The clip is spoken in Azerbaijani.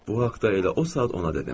Bu haqda elə o saat ona dedim.